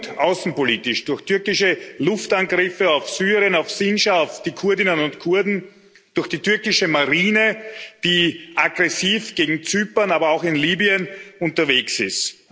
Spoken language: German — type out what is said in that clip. Und außenpolitisch durch türkische Luftangriffe auf Syrien, auf Sindschar, auf die Kurdinnen und Kurden, durch die türkische Marine, die aggressiv gegen Zypern, aber auch in Libyen unterwegs ist.